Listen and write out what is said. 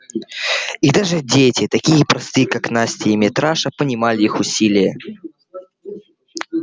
и даже дети такие простые как настя и митраша понимали их усилие